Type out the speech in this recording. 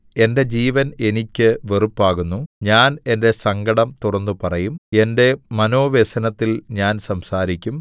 എന്റെ ജീവൻ എനിയ്ക്ക് വെറുപ്പാകുന്നു ഞാൻ എന്റെ സങ്കടം തുറന്നുപറയും എന്റെ മനോവ്യസനത്തിൽ ഞാൻ സംസാരിക്കും